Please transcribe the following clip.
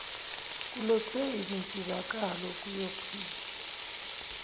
kulethwe izinsizakalo kuyop